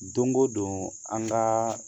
Don o don an ka